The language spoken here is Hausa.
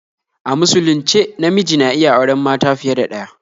A musulunce namiji na iya auren mata fiye da ɗaya